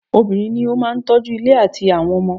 Obìnrin ní o máà tọ́ju ilé àtí àwọn ọmọ.